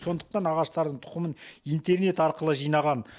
сондықтан ағаштардың тұқымын интернет арқылы жинаған